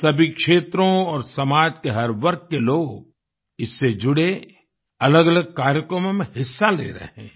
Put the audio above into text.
सभी क्षेत्रों और समाज के हर वर्ग के लोग इससे जुड़े अलगअलग कार्यक्रमों में हिस्सा ले रहे हैं